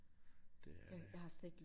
Det er det